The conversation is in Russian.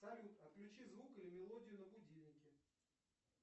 салют отключи звук или мелодию на будильнике